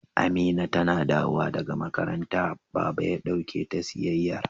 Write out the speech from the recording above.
Amina tana dawowa daga makaranta, Baba ya dauke ta siyayyar.